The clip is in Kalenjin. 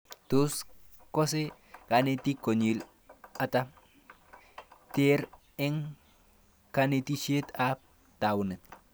Tos kase kanetik konyil ata their eng' kanetishet ab taunet